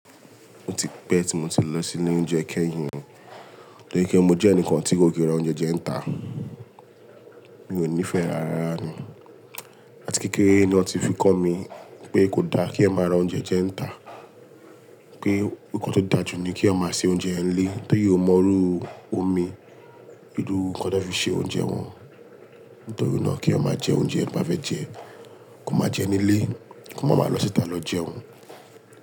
O ti pẹ́ tí mo ti lọ sí ile oúnjẹ kẹ́yìn o, tori pe mo jẹ́ ẹnìkan tí kò kí n ra oúnjẹ jẹ nita. Mi ò nífẹ̀ẹ́ rárára ni. Àti kékeré ni wọ́n ti fi kọ́ mi pé kò da kí ẹeyan máa ra oúnjẹ jẹ nita. Pé nnkan tó dà jù ni kí ẹeyan máa ṣe oúnjẹ ń lé. Torí ó mọrú omi, iru nnkan tí wọ́n fi ṣe oúnjẹ wọn. Nítorí náà kí ẹeyan máa jẹ oúnjẹ to bá fẹ́ jẹ, kó máa jẹ nílé, kó má má lọ síta lọ jẹun.